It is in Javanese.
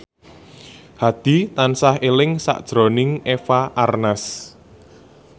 Hadi tansah eling sakjroning Eva Arnaz